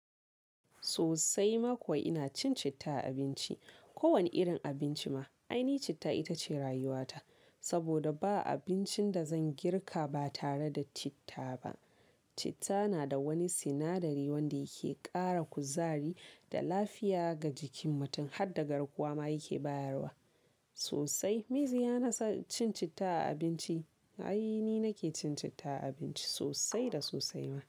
Sosai mako ina cin citta a abinci. Ko wane irin abinci ma, ainihi citta ita ce rayuwata. Saboda ba abincin da zan girka ba tare da citta ba. Citta nada wani sinadari wanda yake ƙara kuzari da lafiya ga jikin mutum har dagarkuwa ma yake bayarwa. Sosai, miziya na cin citta a abinci. Ainihi nake cin citta a abinci sosai da sosai ma.